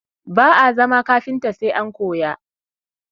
Ba'a zama kafinta sai an koya